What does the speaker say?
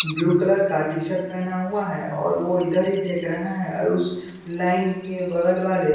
blue colour का T-shirt पहना हुआ है और वो इधर ही देख रहा है और उस लाइन के बगल वाले --